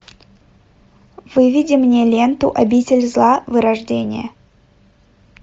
выведи мне ленту обитель зла вырождение